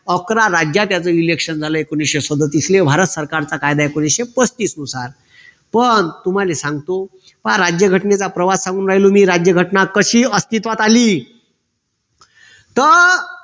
अकरा राज्यच election झालं एकोणविशे सदोतीसले भारत सरकारचा कायदा एकोणविशे पस्तीस नुसार पण तुम्हाले सांगतो पहा राज्यघटनेचा प्रवास सांगून राहिलो मी राज्यघटना कशी अस्तित्वात आली तर